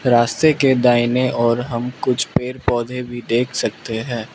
रास्ते के दाईंने ओर हम कुछ पेड़ पौधे भी देख सकते हैं।